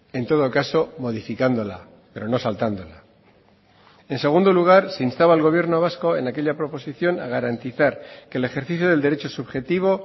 en todo caso modificándola pero no saltándola en segundo lugar se instaba al gobierno vasco en aquella proposición a garantizar que el ejercicio del derecho subjetivo